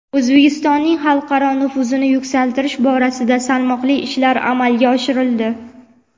O‘zbekistonning xalqaro nufuzini yuksaltirish borasida salmoqli ishlar amalga oshirildi.